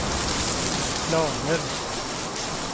planer